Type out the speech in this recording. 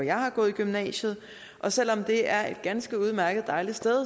jeg har gået i gymnasiet og selv om det er et ganske udmærket dejligt sted